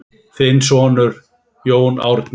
Þinn sonur, Jón Árni.